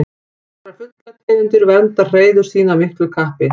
Nokkrar fuglategundir vernda hreiður sín af miklu kappi.